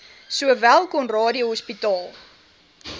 sowel conradie hospitaal